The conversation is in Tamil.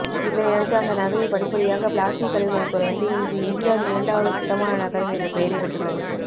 இதனையடுத்து அந்த நகரில் படிப்படியாக பிளாஸ்டிக் கழிவுகள் குறைந்து இன்று இந்தியாவின் இரண்டாவது சுத்தமான நகரம் என்ற பெயரை பெற்றுள்ளது